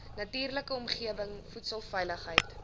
natuurlike omgewing voedselveiligheid